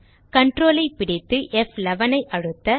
Ctrl ஐ பிடித்து F11 ஐ அழுத்த